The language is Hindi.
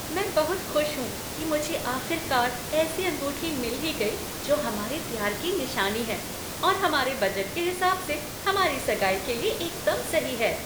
मैं बहुत खुश हूँ कि मुझे आख़िरकार ऐसी अंगूठी मिल ही गई जो हमारे प्यार की निशानी है और हमारे बजट के हिसाब से हमारी सगाई के लिए एकदम सही है।